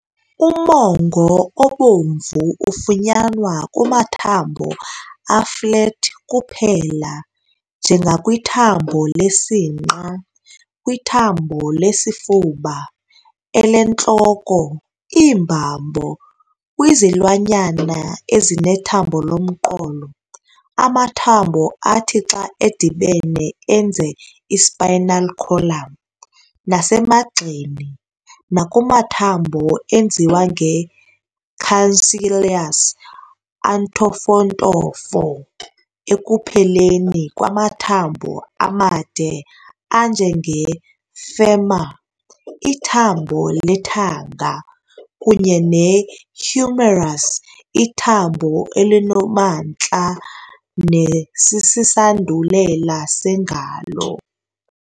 Umongo obomvu ufunyanwa kumathambo a-flat kuphela - njengakwithambo lesinqa, kwithambo lesifuba, elentloko, iimbambo, kwizilwanyana ezinethambo lomqolo, amathambo athi xa edibene enze i-spinal column, nasemagxeni - nakumathambo enziwe nge-cancellous, "antofontofo", ekupheleni kwamathambo amade anje nge-femur, ithambo lethanga, kunye ne-humerus, ithambo elinomantla nesisandulela sengalo.